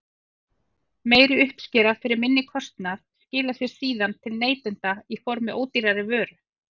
Meiri uppskera fyrir minni kostnað skilar sér síðan til neytenda í formi ódýrari vöru.